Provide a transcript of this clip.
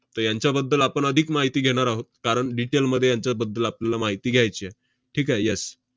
त~ यांच्याबद्दल आपण अधिक माहिती घेणार आहोत, कारण detail मध्ये यांच्याबद्दल आपल्याला माहिती घ्यायची आहे. ठीक आहे? yes